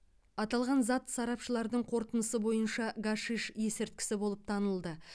аталған зат сарапшылардың қорытындысы бойынша гашиш есірткісі болып танылды